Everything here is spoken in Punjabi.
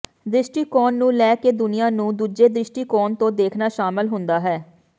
ਦ੍ਰਿਸ਼ਟੀਕੋਣ ਨੂੰ ਲੈ ਕੇ ਦੁਨੀਆਂ ਨੂੰ ਦੂਜੇ ਦ੍ਰਿਸ਼ਟੀਕੋਣ ਤੋਂ ਦੇਖਣਾ ਸ਼ਾਮਲ ਹੁੰਦਾ ਹੈ